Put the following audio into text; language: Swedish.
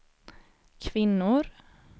kvinnor